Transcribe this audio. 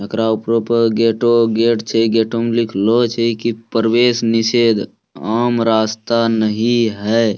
एकरा उपरो प गेटो गेट छे । गेटो में लिखलो छे कि प्रवेश निषेध आम रास्ता नहीं है।